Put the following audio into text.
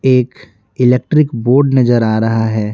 एक electric board नजर आ रहा है।